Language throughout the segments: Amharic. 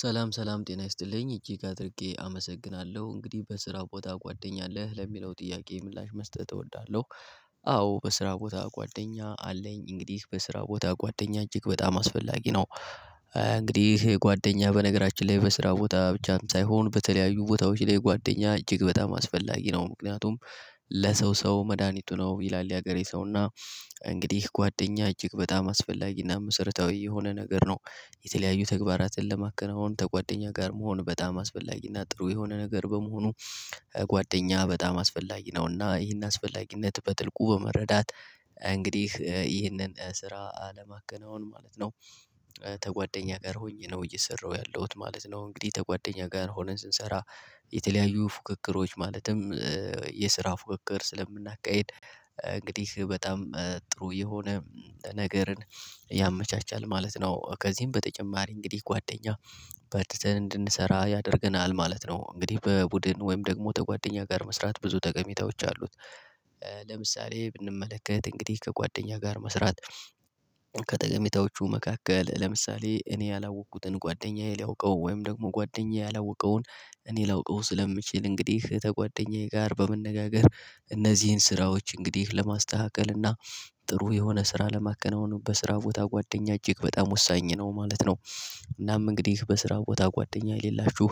ሰላም ሰላም ጤና ይስጥልኝ እጅግ አድርጌ አመሰግናለሁ እንግዲህ በስራ ቦታ ጓደኛ አለህ ለሚለው ጥያቄ ምላሽ መስጠት እወዳለሁ። አዎ በስራ ቦታ ጓደኛ አለኝ እንግዲህ በስራ ቦታ ጓደኛ እጅግ በጣም አስፈላጊ ነው። እንግዲህ ጓደኛ በነገራችን ላይ በስራ ቦታ ብቻም ሳይሆን በተለያዩ ቦታዎች ላይ ጓደኛ እጅግ በጣም አስፈላጊ ነው። ምክንያቱም ለሰው ሰው መድሃኒቱ ነው ይላል የሀገሬ ሰው እና እንግዲህ ጓደኛ እጅግ በጣም አስፈላጊና መሰረታዊ የሆነ ነገር ነው። የተለያዩ ተግባራትን ለማከናወን ከጓደኛ ጋር መሆን በጣም አስፈላጊ እና ጥሩ የሆነ ነገር በመሆኑ ጓደኛ በጣም አስፈላጊ ነው እና ይሄን አስፈላጊነት በጥልቁ በመረዳት እንግዲህ ይህንን ስራ ለማከናወን ማለት ነው። ተጓደኛ ጋር ሆኜ ነው እየሰራሁ ያለሁት ማለት ነው። እንግዲህ ከጓደኛ ጋር ሆነን ስንሰራ የተለያዩ ፉክክሮች ማለትም የስራ ፉክክር ስለምናካሂድ እንግዲህ በጣም ጥሩ የሆነ ነገርን ያመቻቻል ማለት ነው። ከዚህም በተጨማሪ እንግዲህ ጓደኛ በርትተን እንድንሰራ ያደርገናል ማለት ነው። እንግዲህ በቡድን ወይም ደግሞ ከጓደኛ ጋር መስራት ብዙ ተቀሚታዎች አሉት። ለምሳሌ ብንመለከት እንግዲህ ከጓደኛ ጋር መስራት። ከጠቀሜታዎቹ መካከል ለምሳሌ እኔ ያላወቅኩትን ጓደኛዬ ሊያውቀው ወይም ደግሞ ጓደኛዬ ያላወቀውን እኔ ላውቀው ስለምችል እንግዲህ ከጓደኛዬ ጋር በመነጋገር እነዚህን ስራዎች እንግዲህ ለማስተካከል እና ጥሩ የሆነ ስራ ለማከናወን በስራ ቦታ ጓደኛ እጅግ በጣም ወሳኝ ነው ማለት ነው። እናም እንግዲህ በስራ ቦታ ጓደኛ የሌላችሁ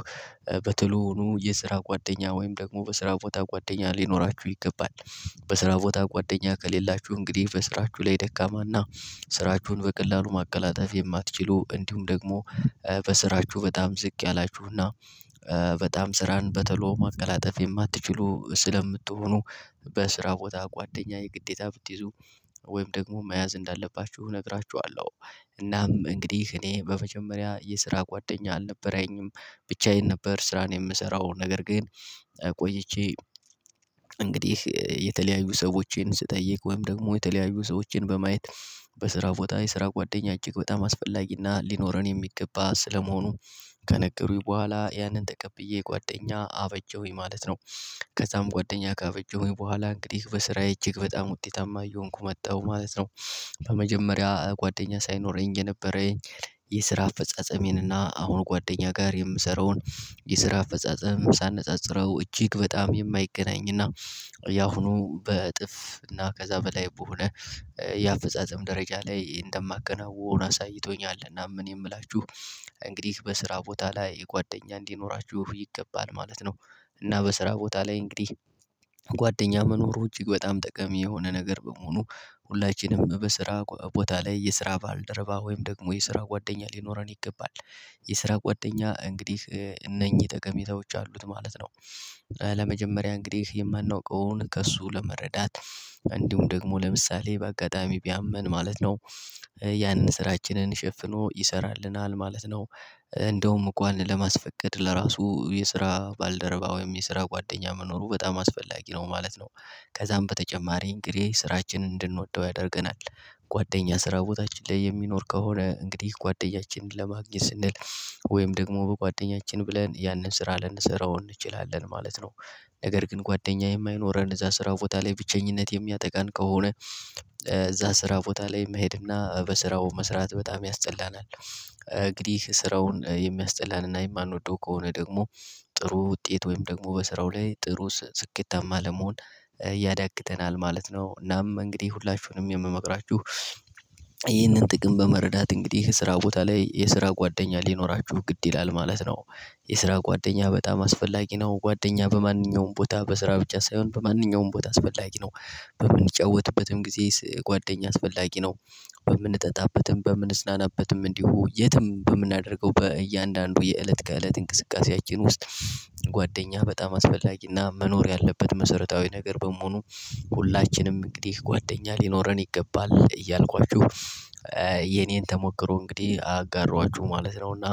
በተሎኑ የስራ ጓደኛ ወይም ደግሞ በስራ ቦታ ጓደኛ ሊኖራችሁ ይገባል። በስራ ቦታ ጓደኛ ከሌላችሁ እንግዲህ በስራችሁ ላይ ደካማና ስራችሁን በቀላሉ ማቀላጠፍ የማትችሉ እንዲሁም ደግሞ በስራችሁ በጣም ዝቅ ያላችሁና በጣም ስራን በተሎ ማቀላጠፍ የማትችሉ ስለምትሆኑ በስራ ቦታ ጓደኛ የግዴታ ብትይዙ ወይም ደግሞ መያዝ እንዳለባችሁ እነግራችኋለሁ። እናም እንግዲህ እኔ በመጀመሪያ የስራ ጓደኛ አልነበረኝም ብቻዬን ነበር ስራን የምሰራው ነገር ግን። ቆይቼ እንግዲህ የተለያዩ ሰዎችን ስጠይቅ ወይም ደግሞ የተለያዩ ሰዎችን በማየት በስራ ቦታ የስራ ጓደኛ እጅግ በጣም አስፈላጊና ሊኖረን የሚገባ ስለመሆኑ ከነገሩኝ በኋላ ያንን ተቀብዬ ጓደኛ አበጀውኝ ማለት ነው። ከዛም ጓደኛ ከአበጀሁኝ በኋላ እንግዲህ በስራዬ እጅግ በጣም ውጤታማ እየሆንኩ መጣሁ ማለት ነው። በመጀመሪያ ጓደኛ ሳይኖረኝ የነበረኝ የስራ አፈጻጸሜን እና አሁን ጓደኛ ጋር የምሰራውን የስራ አፈጻጸም ሳነጻጽረው እጅግ በጣም የማይገናኝ እና ያሁኑ በእጥፍ እና ከዛ በላይ በሆነ የአፈጻጸም ደረጃ ላይ እንደማከናውን አሳይቶኛል። እናም እኔ እምላችሁ እንግዲህ በስራ ቦታ ላይ የጓደኛ እንዲኖራችሁ ይገባል ማለት ነው። እና በስራ ቦታ ላይ እንግዲህ ጓደኛ መኖሩ እጅግ በጣም ጠቃሜ የሆነ ነገር በመሆኑ ሁላችንም በስራ ቦታ ላይ የስራ ባልደረባ ወይም ደግሞ የስራ ጓደኛ ሊኖረን ይገባል። የስራ ጓደኛ እንግዲህ እነኚህ ጠቀሜታዎች አሉት ማለት ነው። ለመጀመሪያ እንግዲህ የማናውቀውን ከእሱ ለመረዳት እንዲሁም ደግሞ ለምሳሌ በአጋጣሚ ቢያመን ማለት ነው ያንን ስራችንን ሸፍኖ ይሰራልናል ማለት ነው። እንደውም እእንኳን ለማስፈቀድ ለራሱ የስራ ባልደረባ ወይም የስራ ጓደኛ መኖሩ በጣም አስፈላጊ ነው ማለት ነው። ከዛም በተጨማሪ እንግዲህ ስራችንን እንድንወደው ያደርገናል ጓደኛ ስራ ቦታችን ላይ የሚኖር ከሆነ እንግዲህ ጓደኛችንን ለማግኘት ስንል ወይም ደግሞ በጓደኛችን ብለን ያንን ስራ ልንሰራው እንችላለን ማለት ነው። ነገር ግን ጓደኛ የማይኖረን እዛ ስራ ቦታ ላይ ብቸኝነት የሚያጠቃን ከሆነ። እዛ ስራ ቦታ ላይ መሄድና በስራው መስራት በጣም ያስጠላናል እንግዲህ ስራውን የሚያስጠላንና የማንወደው ከሆነ ደግሞ ጥሩ ውጤት ወይም ደግሞ በስራው ላይ ጥሩ ስኬታማ ለመሆን ያዳግተናል ማለት ነው። እናም እንግዲህ ሁላችሁንም የምመክራችሁ ይህንን ጥቅም በመረዳት እንግዲህ የስራ ቦታ ላይ የስራ ጓደኛ ሊኖራችሁ ግድ ይላል ማለት ነው። የስራ ጓደኛ በጣም አስፈላጊ ነው ጓደኛ በማንኛውም ቦታ በስራ ብቻ ሳይሆን በማንኛውም ቦታ አስፈላጊ ነው። በምንጫወትበትም ጊዜ ጓደኛ አስፈላጊ ነው። በምንጠጣበትም በምንዝናናበትም እንዲሁ የትም በምናደርገው በእያንዳንዱ የእለት ከእለት እንቅስቃሴያችን ውስጥ ጓደኛህ በጣም አስፈላጊና መኖር ያለበት መሰረታዊ ነገር በመሆኑ ሁላችንም እንግዲህ ጓደኛ ሊኖረን ይገባል እያልኳችሁ። የኔን ተሞክሮ እንግዲህ አጋሯችሁ ማለት ነውና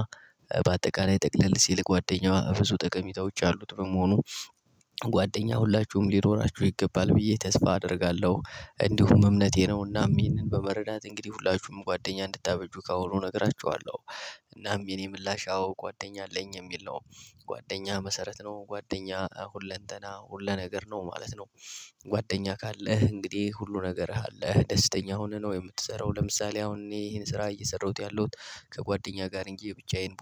በአጠቃላይ ጠቅለል ሲል ጓደኛ ብዙ ጠቀሚታዎች ያሉት በመሆኑ ጓደኛ ሁላችሁም ሊኖራችሁ ይገባል ብዬ ተስፋ አደርጋለሁ። እንዲሁም እምነቴ ነውና ይሄንን በመረዳት እንግዲህ ሁላችሁም ጓደኛ እንድታበጁ ካሁኑ እነግራችኋለሁ። እናም የኔ ምላሽ አዎ ጓደኛ አለኝ የሚል ነው። ጓደኛ መሰረት ነው ጓደኛ ሁለንተና ሁለ ነገር ነው ማለት ነው። ጓደኛ ካለህ እንግዲህ ሁሉ ነገርህ አለህ ደስተኛ ሆነህ ነው የምትሰራው ለምሳሌ አሁን ይሄን ስራ እየሰራሁት ያለሁት ከጓደኛ ጋር እንጂ ብቻዬን